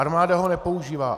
Armáda ho nepoužívá.